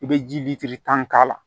I bɛ ji litiri tan k'a la